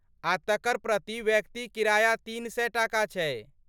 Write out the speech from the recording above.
आ तकर प्रति व्यक्ति किराया तीन सए टाका छै।